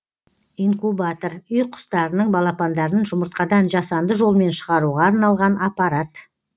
инкубатор үй құстарының балапандарын жұмыртқадан жасанды жолмен шығаруға арналған аппарат